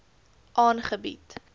aangebied